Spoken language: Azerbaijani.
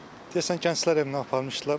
Deyəsən Gənclər evinə aparmışdılar.